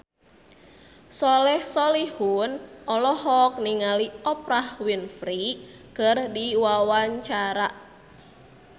Soleh Solihun olohok ningali Oprah Winfrey keur diwawancara